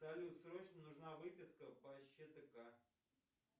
салют срочно нужна выписка по щтк